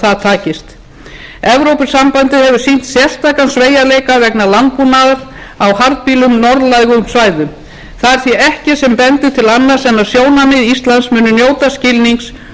það takist evrópusambandið hefur sýnt sérstakan sveigjanleika vegna landbúnaðar á harðbýlum norðlægum svæðum það er því ekkert sem bendir til annars en að sjónarmið íslands muni njóta skilnings og að hægt verði að tryggja traust rekstrarskilyrði fyrir íslenska bændur til